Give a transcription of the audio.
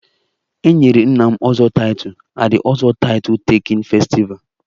E nyere nna m 'ozo'title at the ozo title taking festival